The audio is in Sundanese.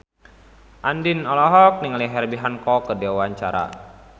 Andien olohok ningali Herbie Hancock keur diwawancara